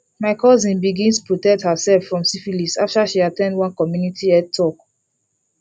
my cousin bigns protect herself from syphilis after she at ten d one community health talk